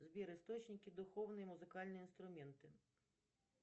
сбер источники духовные музыкальные инструменты